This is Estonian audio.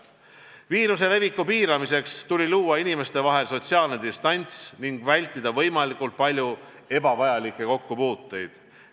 Viiruse leviku piiramiseks tuli luua inimeste vahel sotsiaalne distants ning võimalikult palju vältida ebavajalikke kokkupuuteid.